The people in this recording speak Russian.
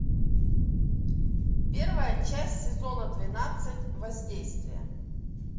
первая часть сезона двенадцать воздействие